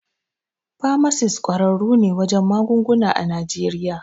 Famasis ƙwararru ne wajen magunguna a Najeriya.